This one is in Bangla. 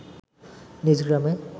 নিজ গ্রামে